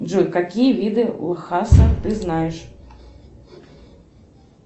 джой какие виды лхаса ты знаешь